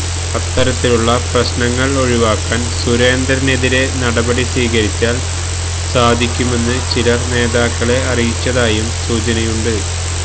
അത്തരത്തിലുള്ള പ്രശ്നങ്ങള് ഒഴിവാക്കാന് സുരേന്ദ്രനെതിരെ നടപടി സ്വീകരിച്ചാല് സാധിക്കുമെന്ന് ചിലര് നേതാക്കളെ അറിയിച്ചതായും സൂചനയുണ്ട്